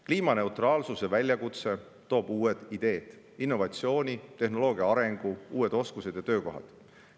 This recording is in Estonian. Kliimaneutraalsuse väljakutse toob uued ideed, innovatsiooni, tehnoloogia arengu, uued oskused ja töökohad.